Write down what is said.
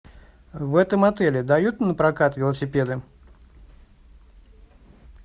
в этом отеле дают напрокат велосипеды